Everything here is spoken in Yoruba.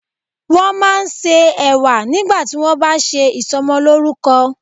Wọ́n máa ń se Ẹ̀wà nígbà tí wón bá ṣe ìsọmọlórúkọ.